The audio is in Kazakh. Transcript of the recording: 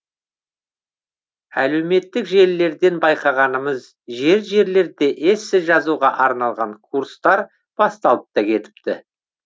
әлеуметтік желілерден байқағанымыз жер жерлерде эссе жазуға арналған курстар басталып та кетіпті